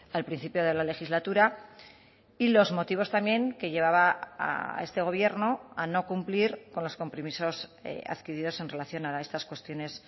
al principio de la legislatura y los motivos también que llevaba a este gobierno a no cumplir con los compromisos adquiridos en relación a estas cuestiones